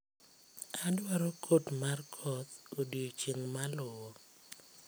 Adwaro kot mar koth odiechieng' maluwo